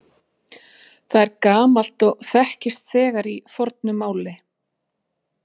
Það er gamalt og þekkist þegar í fornu máli.